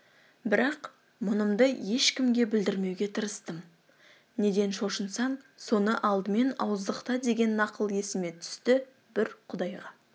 бірақ мұнымды ешкімге білдірмеуге тырыстым неден шошынсаң соны алдымен ауыздықта деген нақыл есіме түсті бір құдайға